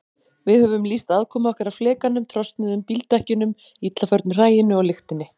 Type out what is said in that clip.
Við höfum lýst aðkomu okkar að flekanum, trosnuðum bíldekkjunum, illa förnu hræinu og lyktinni.